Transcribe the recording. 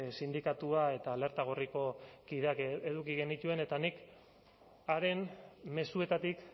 sindikatua eta alerta gorriko kideak eduki genituen eta nik haren mezuetatik